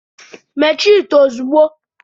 Mechie ite ozugbo!